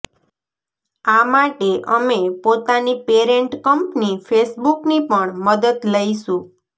આ માટે અમે પોતાની પેરેન્ટ કંપની ફેસબૂકની પણ મદદ લઈશું